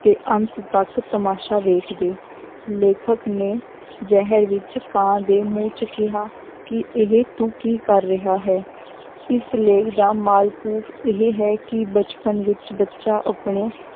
ਤੇ ਅੰਤ ਤੱਕ ਤਮਾਸ਼ਾ ਵੇਖਦੇ, ਲੇਖਕ ਨੇ ਜ਼ਹਿਰ ਵਿੱਚ ਕਾਂ ਦੇ ਮੂੰਹ 'ਚ ਕਿਹਾ ਕਿ ਇਹ ਤੂੰ ਕੀ ਕਰ ਰਿਹਾ ਹੈ ਇਸ ਲੇਖ ਦਾ ਮਾਲਕ ਇਹ ਹੈ ਕਿ ਬਚਪਨ ਵਿੱਚ ਬੱਚਾ ਆਪਣੇ